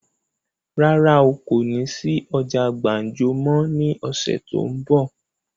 Rárá o, kó ní sí ọjà gbàǹjo máa ní ọ̀sẹ̀ tó ún bọ̀.